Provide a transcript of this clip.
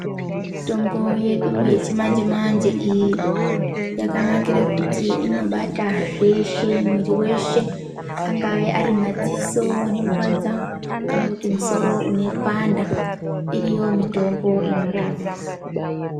Mitombo yedu yechimanje manje iyi yakanakira kuti inobata zveshe mwiri weshe angave Ari madziso anorwadza kuti misoro unopanda iriyo mitombo inorapa.